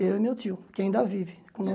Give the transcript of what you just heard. Ele e meu tio, que ainda vive, com